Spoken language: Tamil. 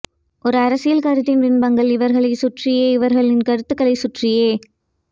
ஒரு அரசியல் கருத்தின் விம்பங்கள் இவர்களை சுற்றியே இவர்களின் கருத்துகளை சுற்றியே